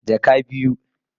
Jaka daya